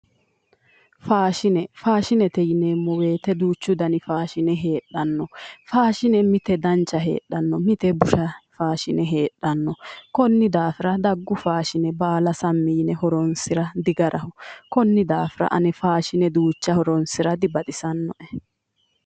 Faashine, faashine yinneemmo woyte duuchu danni faashine heedhano faashine mite dancha heedhano, mite busha heedhano, koni daafira daggu faashine baalla sammi yinne horonsira digaraho, koni daafira ane faashine duucha horonsira dibaxisanoe.